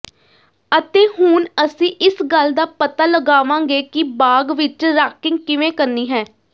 ਅਤੇ ਹੁਣ ਅਸੀਂ ਇਸ ਗੱਲ ਦਾ ਪਤਾ ਲਗਾਵਾਂਗੇ ਕਿ ਬਾਗ਼ ਵਿਚ ਰਾਕਿੰਗ ਕਿਵੇਂ ਕਰਨੀ ਹੈ